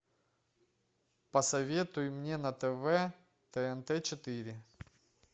посоветуй мне на тв тнт четыре